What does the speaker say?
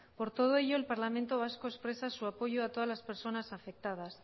por todo ello el parlamento vasco expresa su apoyo a todas las personas afectadas